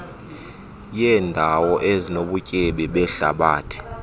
yeendawo ezinobutyebi behlabathi